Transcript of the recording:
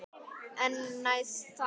En næst það?